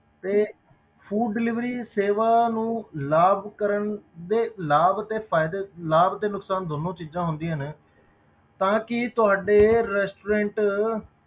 ਤੇ food delivery ਸੇਵਾ ਨੂੰ ਲਾਭ ਕਰਨ ਦੇ, ਲਾਭ ਅਤੇ ਫ਼ਾਇਦੇ, ਲਾਭ ਤੇ ਨੁਕਸਾਨ ਦੋਨੋਂ ਚੀਜ਼ਾਂ ਹੁੰਦੀਆਂ ਨੇ, ਤਾਂ ਕਿ ਤੁਹਾਡੇ restaurant